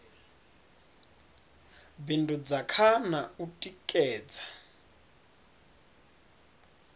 bindudza kha na u tikedza